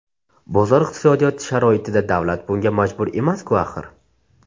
Bozor iqtisodiyoti sharoitida davlat bunga majbur emas-ku axir?